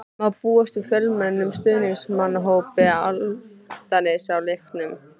Má búast við fjölmennum stuðningsmannahópi Álftnesinga á leiknum?